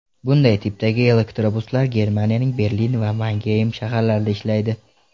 Bunday tipdagi elektrobuslar Germaniyaning Berlin va Mangeym shaharlarida ishlaydi.